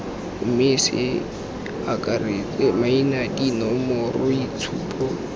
mme ce akaretse maina dinomoroitshupo